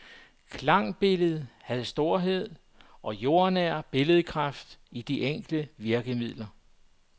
Klangbilledet havde storhed og jordnær billedkraft i de enkle virkemidler.